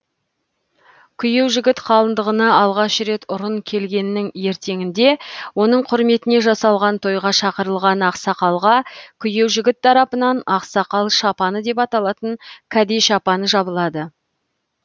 күйеужігіт қалыңдығына алғаш рет ұрын келгеннің ертеңінде оның құрметіне жасалған тойға шақырылған ақсақалға күйеужігіт тарапынан ақсақал шапаны деп аталатын кәде шапаны жабылады